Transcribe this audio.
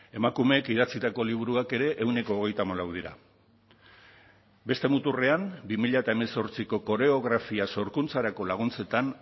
emakumeek idatzitako liburuak ere ehuneko hogeita hamalau dira beste muturrean bi mila hemezortziko koreografia sorkuntzarako laguntzetan